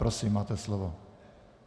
Prosím, máte slovo.